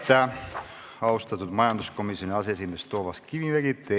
Aitäh, austatud majanduskomisjoni aseesimees Toomas Kivimägi!